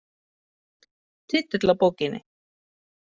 Titill á bókinni?